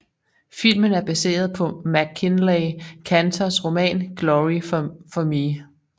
Filmen er baseret på MacKinlay Kantors roman Glory for Me